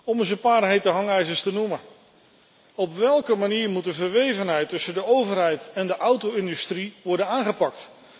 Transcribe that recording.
Om een paar hete hangijzers te noemen Op welke manier moet de verwevenheid tussen de overheid en de auto industrie worden aangepakt?